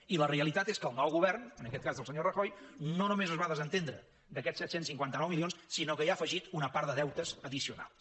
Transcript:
i la realitat és que el nou govern en aquest cas del senyor rajoy no només es va desentendre d’aquests set cents i cinquanta nou milions sinó que hi ha afegit una part de deutes addicionals